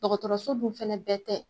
Dɔgɔtɔrɔso dun fɛnɛ bɛɛ tɛ